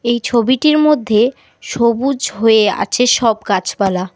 এই ছবিটির মধ্যে সবুজ হয়ে আছে সব গাছপালা।